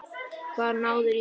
Hvar náðirðu í þessa rödd?